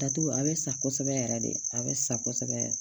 Datugu a bɛ sa kosɛbɛ yɛrɛ de a bɛ sa kosɛbɛ